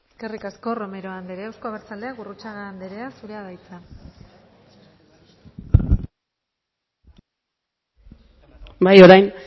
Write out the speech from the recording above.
eskerrik asko romero anderea euzko abertzaleak gurrutxaga anderea zurea da hitza bai orain